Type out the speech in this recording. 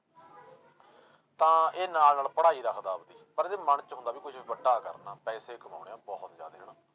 ਤਾਂ ਇਹ ਨਾਲ ਨਾਲ ਪੜ੍ਹਾਈ ਰੱਖਦਾ ਆਪਦੀ ਪਰ ਇਹਦੇ ਮਨ 'ਚ ਹੁੰਦਾ ਵੀ ਕੁਛ ਵੱਡਾ ਕਰਨਾ ਪੈਸੇ ਕਮਾਉਣੇ ਆਂ ਬਹੁਤ ਜ਼ਿਆਦੇ ਹਨਾ।